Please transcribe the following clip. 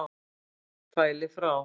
fæli frá.